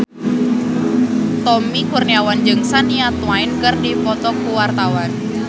Tommy Kurniawan jeung Shania Twain keur dipoto ku wartawan